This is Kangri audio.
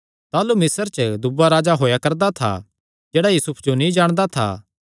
ताह़लू मिस्र च दूआ राजा होएया करदा था जेह्ड़ा यूसुफ जो नीं जाणदा था